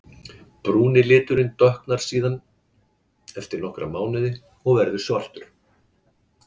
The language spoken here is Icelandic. Brúni liturinn dökknar síðan eftir nokkra mánuði og verður svartur.